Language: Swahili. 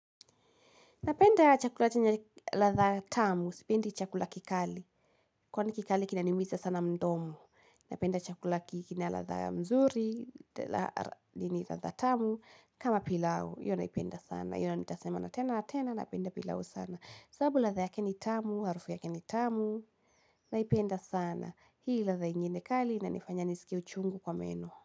Napenda chakula chenye ladha tamu, sipendi chakula kikali, kwani kikali kinaniumiza sana mdomo. Napenda chakula ki kina ladha mzuri, lenye ladha tamu, kama pilau, hiyo naipenda sana. Hiyo nayo nitasema na tena na tena, napenda pilau sana. Sabu ladha yake ni tamu, harufu yake ni tamu, naipenda sana. Hii ladha ingine kali, inanifanya nisikie uchungu kwa meno.